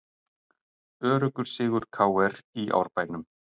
Öruggur sigur KR í Árbænum